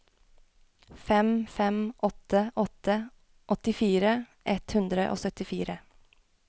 fem fem åtte åtte åttifire ett hundre og syttifire